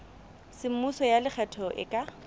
semmuso ya lekgetho e ka